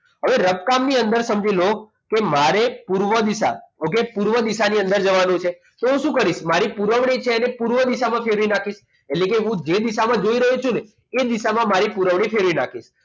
હવે રફકામ થી અંદર સમજી લો કે મારે પૂર્વ દિશા એ okay પૂર્વ દિશા ની અંદર જવાનું છે તો હું શું કરીશ મારી પુરવણી પૂર્વ દિશામાં ફેરવી નાખીશ એટલે કે હું જે દિશામાં જઈ રહ્યો છું ને એ દિશામાં મારી પુરવણી ફેરવી નાખીશ